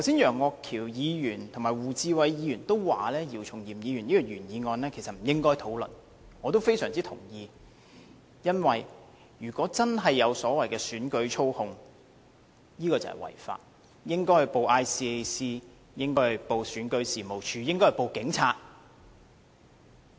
楊岳橋議員和胡志偉議員剛才均表示，姚松炎議員這項原議案其實不應該討論，我也非常同意，因為如果真的有所謂的選舉操控，這便是違法，應該向香港廉政公署、選舉事務處和香港警察報案。